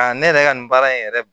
Aa ne yɛrɛ ka nin baara in yɛrɛ